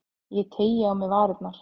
Ég teygi á mér varirnar.